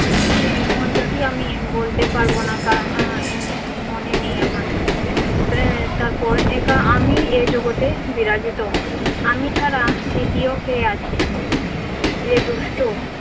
সে মন্ত্রটি আমি বলতে পারব না কারণ আহ এর মনে নেই আমার। আহ তারপর একা আমি এ জগতে বিরাজিত, আমি ছাড়া দ্বিতীয় কে আছে রে দুষ্ট?